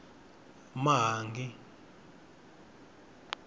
mahangi